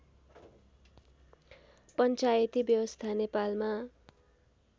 पञ्चायती व्यवस्था नेपालमा